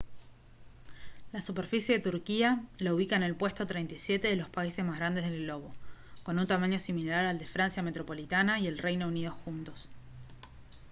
la superficie de turquía la ubica en el puesto 37 de los países más grandes del globo con un tamaño similar al de francia metropolitana y el reino unido juntos